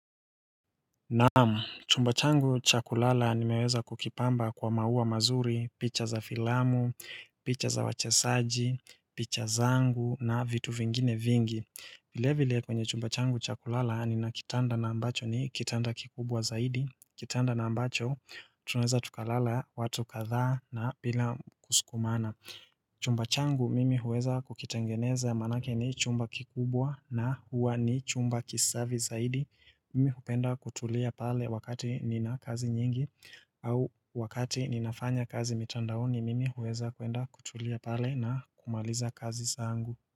Naamu, chumba changu cha kulala nimeweza kukipamba kwa maua mazuri, picha za filamu, picha za wachezaji, picha zangu na vitu vingine vingi. Vile vile kwenye chumba changu cha kulala nina kitanda na ambacho ni kitanda kikubwa zaidi. Kitanda na ambacho, tunaeza tukalala, watu kadhaa na bila kusukumana. Chumba changu mimi huweza kukitangeneza manake ni chumba kikubwa na huwa ni chumba kisafi zaidi. Mimi hupenda kutulia pale wakati nina kazi nyingi au wakati ninafanya kazi mitandaoni Mimi huweza kuenda kutulia pale na kumaliza kazi zangu.